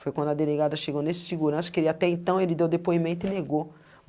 Foi quando a delegada chegou nesse segurança, que ele até então ele deu depoimento e negou.